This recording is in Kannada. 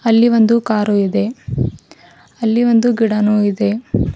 ಅಲ್ಲಿ ಒಂದು ಕಾರು ಇದೆ ಅಲ್ಲಿ ಒಂದು ಗಿಡನು ಇದೆ.